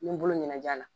N ye n bolo ɲɛnajɛ la